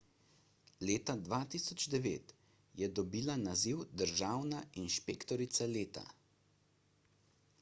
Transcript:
leta 2009 je dobila naziv državna inšpektorica leta